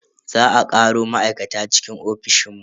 Za a karo ma'aikata cikin ofishin mu.